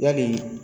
Yali